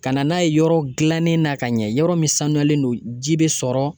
Ka na n'a ye yɔrɔ gilannen na ka ɲɛ yɔrɔ min sanuyalen don ji bɛ sɔrɔ